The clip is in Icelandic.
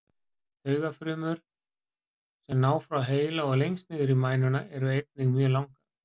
Taugafrumurnar sem ná frá heila og lengst niður í mænuna eru einnig mjög langar.